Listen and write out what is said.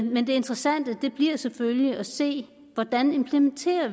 men det interessante bliver selvfølgelig at se hvordan vi implementerer